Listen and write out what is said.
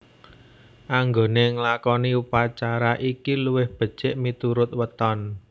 Anggone nglakoni upacara iki luwih becik miturut weton